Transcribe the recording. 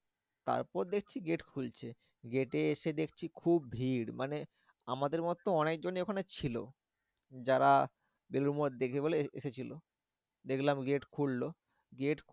তারপর দেখছি gate খুলছে। gate এ এসে দেখছি খুব ভিড়। মানে আমাদের মতো অনেকজনই ওখানে ছিল। যারা বেলুড় মঠ দেখবে বলে এসেছিলো। দেখলাম gate খুললো gate